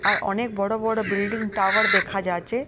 আর অনেক বড় বড় বিল্ডিং টাওয়ার দেখা যাচ্ছে।